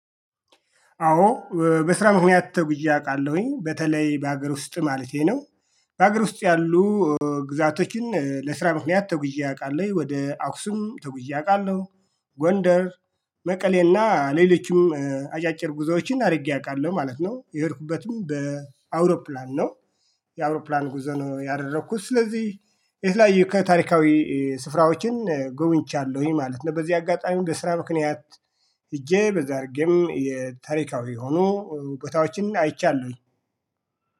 አዎ በስራ ምክንያት ተጉዤ አውቃለሁኝ በተለይ በሀገር ውስጥ ማለቴ ነው። በሀገር ውስጥ ያሉ ግዛቶችን ለስራ ምክንያት ተጉዤ አውቃለሁ ወደ አኩስም ተጉዤ አውቃለሁ። ጎንደር መቀሌና ሌሎችም አጫጭር ጉዞዎችን አድርጌ አውቃለሁ ማለት ነው። የሄድኩበትም በአውሮፕላን ነው። የአውሮፕላን ጉዞ ነው ያደረኩት ስለዚህ የተለያዩ ከታሪካዊ ስፍራዎችን ጎብኝቻለሁኝ ማለት ነው። በዚህ አጋጣሚ በስራ ምክንያት ሄጄ በዛ አድርጌም የታሪካዊ የሆኑ ቦታዎችን አይቻለሁኝ